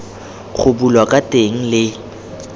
go bulwa ka teng le